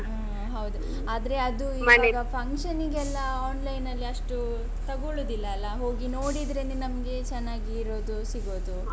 ಹ್ಮ್ ಹೌದು ಆದ್ರೆ ಅದು ಇವಾಗ function ಗೆಲ್ಲಾ online ನ್ನಲ್ಲಿ ಅಷ್ಟು ತಗೊಳ್ಳುದಿಲ್ಲ ಅಲ್ಲಾ ಹೋಗಿ ನೋಡಿದ್ರೇನೇ ನಮ್ಗೆ ಚೆನ್ನಾಗಿ ಇರೋದು ಸಿಗೋದು.